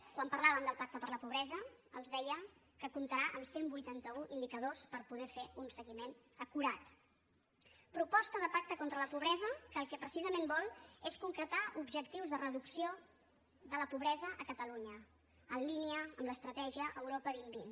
quan parlàvem del pacte per a la pobresa els deia que comptarà amb cent i vuitanta un indicadors per poder fer ne un seguiment acurat proposta de pacte contra la pobresa que el que precisament vol és concretar objectius de reducció de la pobresa a catalunya en línia amb l’estratègia europa dos mil vint